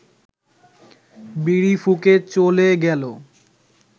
বিড়ি ফুঁকে চ’লে গেলো